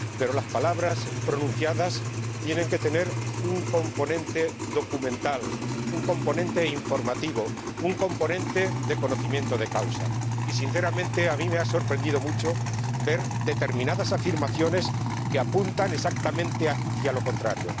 Pero las palabras pronunciadas tienen que tener un componente documental, un componente informativo, un componente de conocimiento de causa y, sinceramente, a mí me ha sorprendido mucho ver determinadas afirmaciones que apuntan exactamente hacia lo contrario.